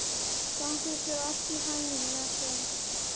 Gangi þér allt í haginn, Jason.